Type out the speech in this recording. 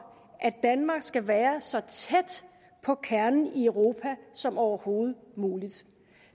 at danmark skal være så tæt på kernen i europa som overhovedet muligt